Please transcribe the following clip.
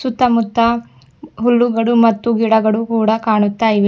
ಸುತ್ತಮುತ್ತ ಹುಲ್ಲುಗಳು ಮತ್ತು ಗಿಡಗಳು ಕೂಡ ಕಾಣುತ್ತಾ ಇವೆ.